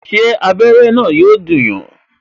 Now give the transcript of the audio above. Ṣé abere na yọ dùn yàn?